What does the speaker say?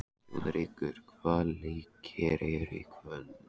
Þjóðrekur, hvaða leikir eru í kvöld?